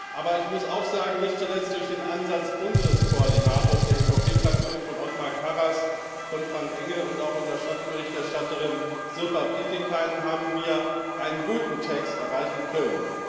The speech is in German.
Aber ich muss auch sagen Nicht zuletzt durch den Einsatz unseres Koordinators der EVP Fraktion, Othmar Karas, von Frank Engel und auch unserer Schattenberichterstatterin Sirpa Pietikäinen haben wir einen guten Text erreichen können.